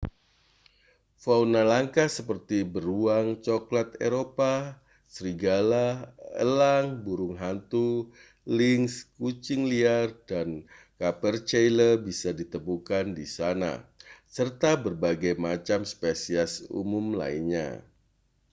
fauna langka seperti beruang cokelat eropa serigala elang burung hantu lynx kucing liar dan capercaillie bisa ditemukan di sana serta berbagai macam spesies umum lainnya